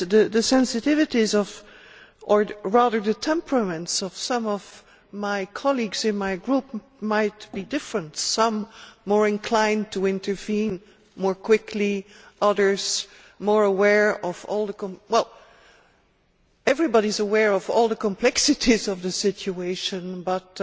The sensitivities, or rather the temperaments, of some of my colleagues in my group might be different, some more inclined to intervene more quickly, others more aware of well everybody is aware of all the complexities of the situation, but